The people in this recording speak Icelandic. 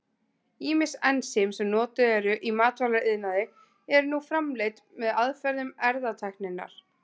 Ýmis ensím sem notuð eru í matvælaiðnaði eru nú framleidd með aðferðum erfðatækninnar.